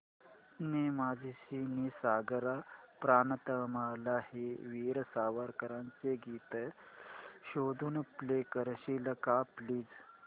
ने मजसी ने सागरा प्राण तळमळला हे वीर सावरकरांचे गीत शोधून प्ले करशील का प्लीज